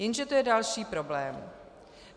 Jenže to je další problém.